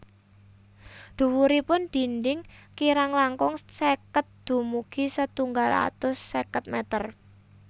Dhuwuripun dinding kirang langkung seket dumugi setunggal atus seket meter